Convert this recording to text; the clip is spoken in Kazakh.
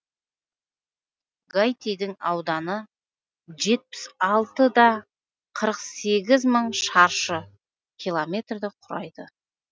гаитидің ауданы жетпіс алты да қырық сегіз мың шаршы километр құрайды